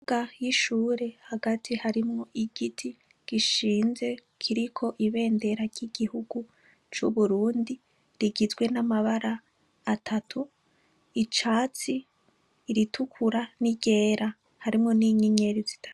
Ikibuga cishure hagati harimwo igiti gishinze kiriko ibendera ryigihugu cuburundi rigizwe namabara atatu iryicatsi iritukura niryera harimwo ninyenyeri zitatu